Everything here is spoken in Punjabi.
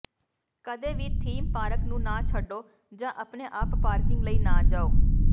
ਕਦੇ ਵੀ ਥੀਮ ਪਾਰਕ ਨੂੰ ਨਾ ਛੱਡੋ ਜਾਂ ਆਪਣੇ ਆਪ ਪਾਰਕਿੰਗ ਲਈ ਨਾ ਜਾਓ